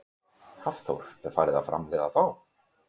Hafþór: Er farið að framleiða þá?